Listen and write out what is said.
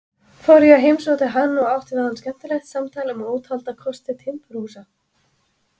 Fór ég og heimsótti hann og átti við hann skemmtilegt samtal um ótalda kosti timburhúsa.